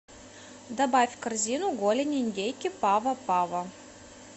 добавь в корзину голень индейки пава пава